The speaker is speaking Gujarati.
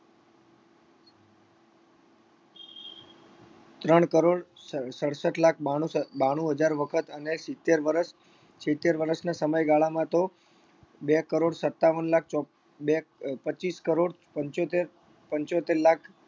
ત્રણ કરોડ સડ સડસઠ લાખ બાણું સ બાણું હજાર વખત અને સિત્તેર વર્ષ સિત્તેર વર્ષના સમયગાળામાં તો બે કરોડ સત્તાવન લાખ ચોપ્પ બે પચીસ કરોડ પંચોતેર પંચોતેર લાખ